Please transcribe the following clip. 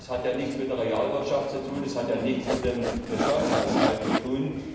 Das hat ja nichts mit der Realwirtschaft zu tun. Das hat ja nichts mit dem Staatshaushalt zu tun.